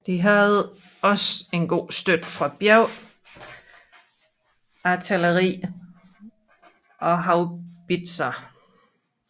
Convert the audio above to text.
De havde også god støtte fra bjergartilleri og haubitser